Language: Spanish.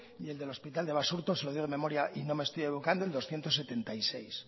y el del hospital de basurto se lo digo de memoria y no me estoy equivocando en doscientos setenta y seis